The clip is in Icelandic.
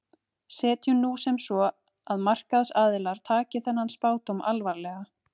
Setjum nú sem svo að markaðsaðilar taki þennan spádóm alvarlega.